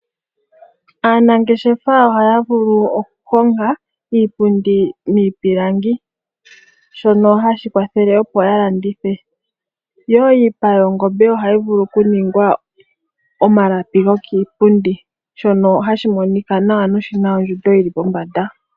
Aanangeshefa ohaya vulu oku honga iipundi miipilangi shono hashi kwathele opo ya landithe, yo iipa yongombe ohayi vulu okuningwa omalapi gokiipundi, shono hashi monika nawa noshina ondjundo yili pombanda.